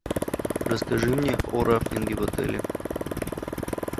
расскажи мне о рафтинге в отеле